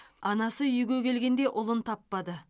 анасы үйге келгенде ұлын таппады